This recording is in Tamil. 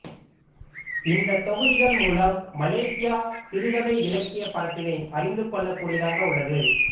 இந்த தொகுதிகள் மூலம் மலேசியா சிறுகதை இலக்கியப் பரப்பினை அறிந்து கொள்ளக்கூடியதாக உள்ளது